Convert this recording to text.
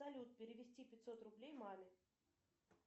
салют перевести пятьсот рублей маме